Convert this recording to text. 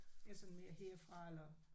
Jeg er sådan mere herfra eller